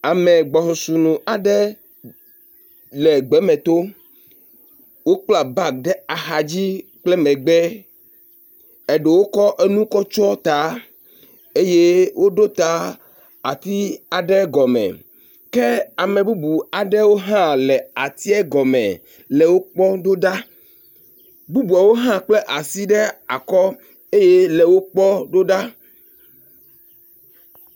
Ame gbɔsusu nu aɖe le gbeme tom. Wokpla bagi ɖe axa dzi kple megbe eɖewo kɔ enu kɔ tsɔ ta eye woɖo ta ati aɖe gɔme ke ame bubu aɖewo hã le ati gɔme le wo kpɔm ɖo ɖa. bubuawo hã kple asi ɖe akɔ eye le wo kpɔm ɖo ɖa.